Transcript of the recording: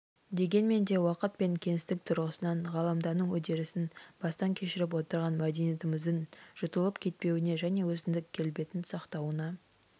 дегенмен де уақыт пен кеңістік тұрғысынан ғаламдану үдерісін бастан кешіріп отырған мәдениетіміздің жұтылып кетпеуіне және өзіндік келбетін сақтауына